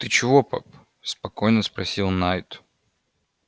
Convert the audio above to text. ты чего пап спокойно спросил найд